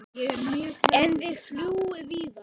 En þið fljúgið víðar?